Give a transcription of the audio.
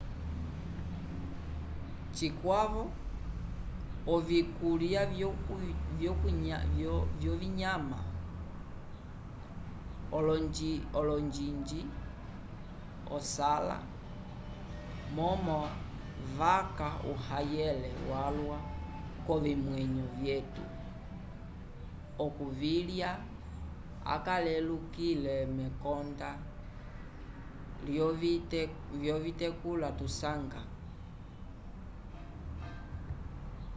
cikwavo ovikulya vyovinyama olonjiinji asala momo vaca uhayele walwa k’ovimwenyo vyetu okuvilya acalelukile mekonda lyovitekula tusanga